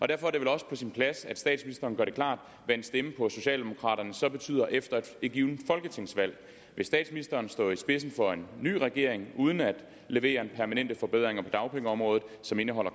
derfor er det vel også på sin plads at statsministeren gør det klart hvad en stemme på socialdemokraterne så betyder efter et givet folketingsvalg vil statsministeren stå i spidsen for en ny regering uden at levere permanente forbedringer på dagpengeområdet som indeholder